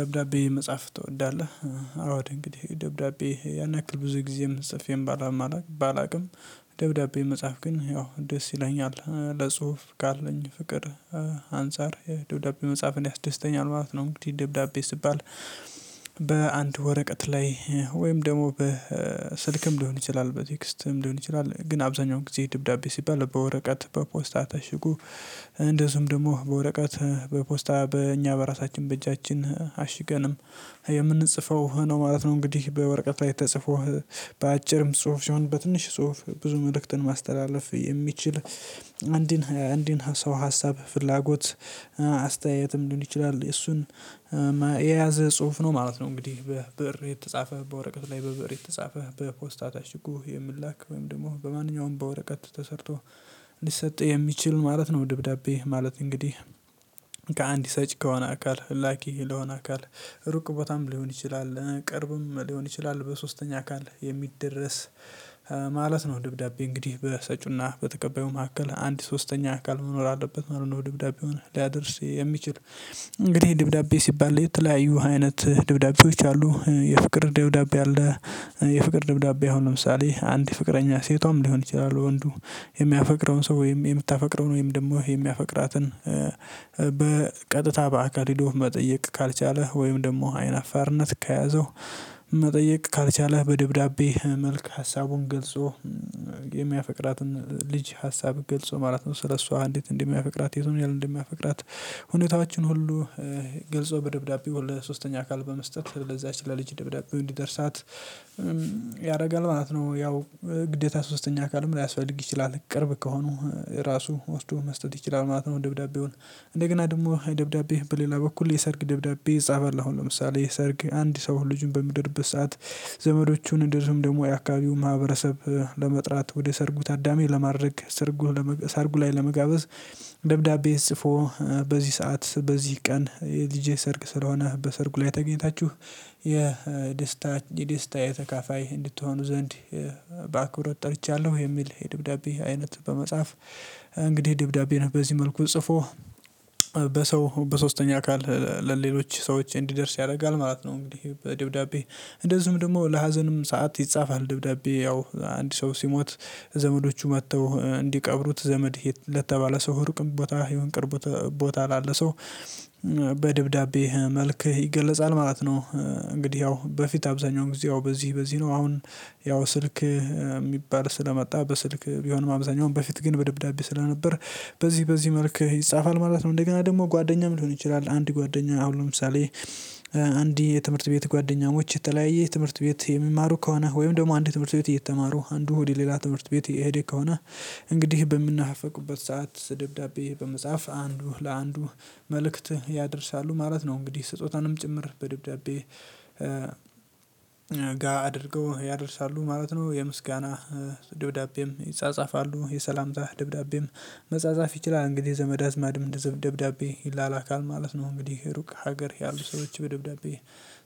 "ደብዳቤ መጽሐፍ ትወዳለህ?" አዎድ እንግዲህ ደብዳቤ ያን ያክል ብዙ ጊዜም ጽፌም ባላውቅም ደብዳቤ መጽሐፍ ግን ያው ደስ ይለኛል ለጽሁፍ ካለኝ ፍቅር አንፃር የደብዳቤ መጽሐፍን ያስደስተኛል ማለት ነው እንግዲህ ደብዳቤ ስትባል በአንድ ወረቀት ላይ ወይም ደግሞ በስልክም ሊሆን ይችላል በቴክስትም ሊሆን ይችላል ግን አብዛኛው ጊዜ ድብዳቤ ሲባል በወረቀት በፖስታ ታሽጉ እንደዚሁም ደግሞ በወረቀት በፖስታ በእኛ በራሳችን በእጃችን አሽገንም የምንጽፈው ነው ማለት ነው እንግዲህ። በወረቀት ላይ ተጽፎ በአጭርም ጽሁፍ ሲሆን በትንሽ ጽሁፍ ብዙ መልእክትን ማስተላለፍ የሚችል አንድን አንድን ሰው ሀሳብ ፍላጎት አስተያየትም ሊሆን ይችላል እሱን የያዘ ጽሁፍ ነው ማለት ነው እንግዲህ በብር የተጻፈ በወረቀት ላይ በብር የተጻፈ በፖስታ ታሽጎ እኮ የሚላክ ወይም ደግሞ በማንኛውም በወረቀት ተሰርቶ ሊሰጥ የሚችል ማለት ነው ደብዳቤ ማለት እንግዲህ ከአንድ ሰጭ ከሆነ አካል ላኪ ለሆነ አካል ሩቅ ቦታም ሊሆን ይችላል ቅርብም ሊሆን ይችላል በሶስተኛ አካል የሚደረስ ማለት ነው ድብዳቤ እንግዲህ በሰጪውና በተቀባዩ መካከል አንድ ሶስተኛ አካል መኖር አለበት ማለት ነው ድብዳቤውን ሊያደርስ የሚችል እንግዲህ ድብዳቤ ሲባል የተለያዩ አይነት ድብዳቤዎች አሉ የፍቅር ድብዳቤ አለ የፍቅር ደብዳቤ አሁን ለምሳሌ አንድ ፍቅረኛ ሴቷም ሊሆን ይችላል ወንዱ የሚያፈቅረውን ሰው ወይም የምታፈቅረውን ወይም ደግሞ የሚያፈቅራትን በቀጥታ በአካል ሂዶ መጠየቅ ካልቻለ ወይም ደግሞ አይን አፋርነት ከያዘው መጠየቅ ካልቻለ በደብዳቤ መልክ ሀሳቡን ገልጾ የሚያፈቅራትን ልጅ ሀሳብ ገልጾ ማለት ነው ስለሱ አንዲት እንደሚያፈቅራት የቱን ያህል እንደሚያፈቅራት ሁኔታዎቻችን ሁሉ ገልጾ በደብዳቤው ለሶስተኛ አካል በመስጠት ለዛች ለልጅ ደብዳቤ እንዲደርሳት ያደርጋል ማለት ነው ያው ግዴታ ሶስተኛ አካልም ሊያስፈልግ ይችላል። ቅርብ ከሆኑ ራሱ ወስዶ መስጠት ይችላል ማለት ነው ደብዳቤውን። እንደገና ደግሞ ደብዳቤ በሌላ በኩል የሰርግ ደብዳቤ ይጻፋል አሁን ለምሳሌ የሰርግ አንድ ሰው ልጁን በምድርበት ሰዓት ዘመዶቹን እንደዚውም ደግሞ የአካባቢው ማህበረሰብ ለመጥራት ወደ ሰርጉ ታዳሚ ለማድረግ ሰርጉ ለመገ ሰርጉ ላይ ለመጋበዝ ደብዳቤ ጽፎ በዚህ ሰዓት በዚህ ቀን የልጄ ሰርግ ስለሆነ በሰርጉ ላይ ተገኝታችሁ የደስታ የደስታዬ ተካፋይ እንድትሆኑ ዘንድ በአክብሮት ጠርቻለሁ የሚል የድብዳቤ አይነት በመጻፍ እንግዲህ ደብዳቤን በዚህ መልኩ ጽፎ በሰው በሶስተኛ አካል ለሌሎች ሰዎች እንዲደርስ ያደርጋል ማለት ነው እንግዲህ በደብዳቤ እንደዚሁም ደግሞ ለሀዘንም ሰዓት ይጻፋል ደብዳቤ ያው አንድ ሰው ሲሞት ዘመዶቹ መጥተው እንዲቀብሩት ዘመድ ለተባለ ሰው ሩቅም ቦታ ይሁን ቅርብ ቦታ ላለ ሰው በደብዳቤ መልክ ይገለጻል ማለት ነው እንግዲህ ያው በፊት አብዛኛው ጊዜ ያው በዚህ በዚህ ነው አሁን ያው ስልክ የሚባል ስለመጣ በስልክ ቢሆንም አብዛኛውን በፊት ግን በደብዳቤ ስለነበር በዚህ በዚህ መልክ ይጻፋል ማለት ነው። እንደገና ደግሞ ጓደኛም ሊሆን ይችላል አንድ ጓደኛ አሁን ለምሳሌ አንድ የትምህርት ቤት ጓደኛሞች የተለያየ ትምህርት ቤት የሚማሩ ከሆነ ወይም ደግሞ አንድ ትምህርት ቤት እየተማሩ አንዱ ወደ ሌላ ትምህርት ቤት እየሄደ ከሆነ እንግዲህ በሚነፋፈቁበት ሰዓት ደብዳቤ በመጻፍ አንዱ ለአንዱ መልእክት ያደርሳሉ ማለት ነው እንግዲህ ስጦታንም ጭምር በደብዳቤ ጋ አድርገው ያደርሳሉ ማለት ነው። የምስጋና ድብዳቤም ይጻጻፋሉ የሰላምታ ደብዳቤም መጻጻፍ ይችላል። እንግዲህ ዘመድ አዝማድም ደብዳቤ ይላላካል ማለት ነው እንግዲህ ሩቅ ሀገር ያሉ ሰዎች በደብዳቤ